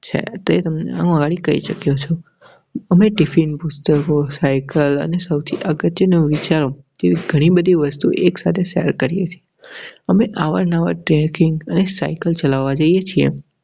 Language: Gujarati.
છે તેમને મારી કહી શકો છો. અમે tiffin પુસ્સતકો સાઇકલ અને સૌથી અગત્યનું વિચારો તેવી ઘણી બધી વસ્તુઓ એક સાથે share કરીએ છીએ. અમે સાવ નવા ટ્રેનિંગ સાયકલ ચલાવા જઈએ છે.